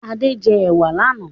Ade jẹ ewa lànà